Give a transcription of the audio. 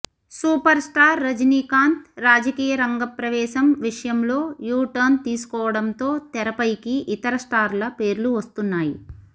superstar Rajinikanth రాజకీయ రంగ ప్రవేశం విషయంలో యూటర్న్ తీసుకోవడంతో తెరపైకి ఇతర స్టార్ల పేర్లు వస్తున్నాయి